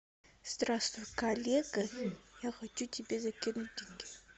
здравствуй коллега я хочу тебе закинуть деньги